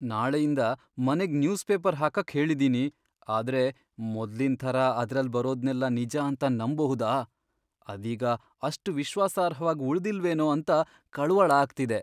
ನಾಳೆಯಿಂದ ಮನೆಗ್ newspaper ಹಾಕಕ್ ಹೇಳಿದೀನಿ. ಆದ್ರೆ ಮೊದ್ಲಿನ್ ಥರ ಅದ್ರಲ್ಲ್ ಬರೋದ್ನೆಲ್ಲ ನಿಜ ಅಂತ ನಂಬ್ಬಹುದಾ, ಅದೀಗ ಅಷ್ಟ್ ವಿಶ್ವಾಸಾರ್ಹವಾಗ್ ಉಳ್ದಿಲ್ವೇನೋ ಅಂತ ಕಳವಳ ಆಗ್ತಿದೆ.